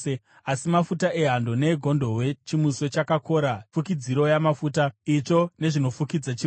Asi mafuta ehando neegondobwe, chimuswe chakakora, fukidziro yamafuta, itsvo nezvinofukidza chiropa,